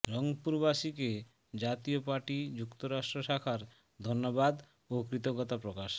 রংপুরবাসীকে জাতীয় পার্টি যুক্তরাষ্ট্র শাখার ধন্যবাদ ও কৃতজ্ঞতা প্রকাশ